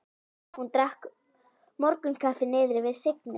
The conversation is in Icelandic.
Hún drakk morgunkaffi niðri við Signu.